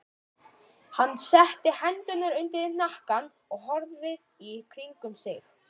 Hann setti hendurnar undir hnakkann og horfði í kringum sig.